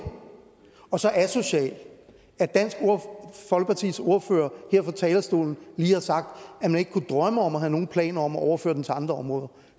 og så asocial at dansk folkepartis ordfører her fra talerstolen lige har sagt at man ikke kunne drømme om at have nogle planer om at overføre den til andre områder